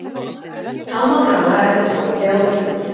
Þá má draga eftirfarandi ályktanir: